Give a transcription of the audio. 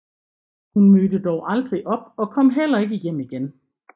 Hun mødte dog aldrig op og kom heller ikke hjem igen